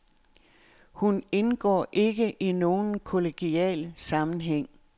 Hun indgår ikke i nogen kollegial sammenhæng.